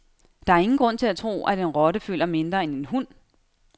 Der er ingen grund til at tro, at en rotte føler mindre end en hund.